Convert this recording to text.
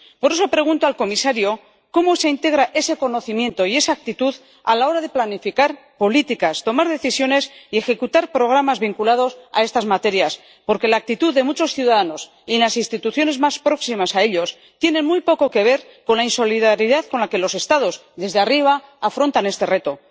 Por eso, pregunto al comisario cómo se integra ese conocimiento y esa actitud a la hora de planificar políticas, tomar decisiones y ejecutar programas vinculados a estas materias, porque la actitud de muchos ciudadanos y en las instituciones más próximas a ellos tiene muy poco que ver con la insolidaridad con la que los Estados, desde arriba, afrontan este reto.